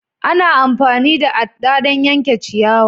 Ana amfani da adɗa don yanke ciyawa.